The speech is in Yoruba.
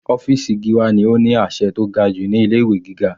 Ọ́fìsì Gíwá ni ó ní àṣẹ tó ga jù ní ilé ìwé gíga.